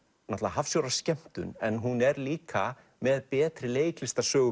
hafsjór af skemmtun en hún er líka með betri